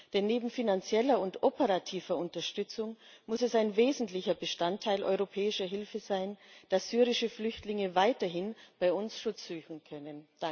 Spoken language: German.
Denn neben finanzieller und operativer Unterstützung muss es ein wesentlicher Bestandteil europäischer Hilfe sein, dass syrische Flüchtlinge weiterhin bei uns Schutz suchen können.